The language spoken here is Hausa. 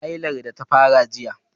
hailar da ta fara jiya